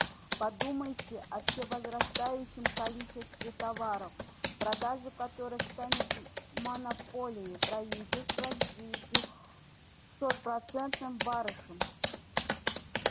подумайте о всевозрастающем количестве товаров продажа которых станет монополией правительства с девятисотпроцентным барышом